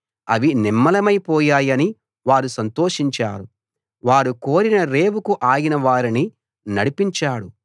అవి నిమ్మళమైపోయాయని వారు సంతోషించారు వారు కోరిన రేవుకు ఆయన వారిని నడిపించాడు